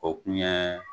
O kun ye